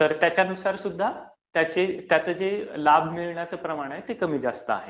तर त्याच्यानुसारसुद्धा त्याचं जे लाभ मिळण्याचं प्रमाण आहे ते कमी जास्त आहे.